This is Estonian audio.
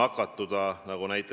nakatuda suurem.